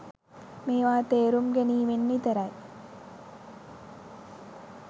මේවා තේරුම් ගැනීමෙන් විතරයි.